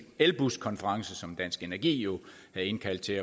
elbuskonference som dansk energi havde indkaldt til